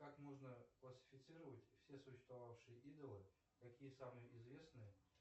как можно классифицировать все существовавшие идолы какие самые известные